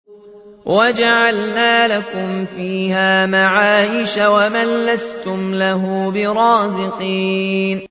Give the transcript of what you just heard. وَجَعَلْنَا لَكُمْ فِيهَا مَعَايِشَ وَمَن لَّسْتُمْ لَهُ بِرَازِقِينَ